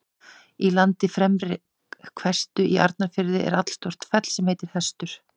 Í landi Fremri-Hvestu í Arnarfirði er allstórt fell sem heitir Hestur.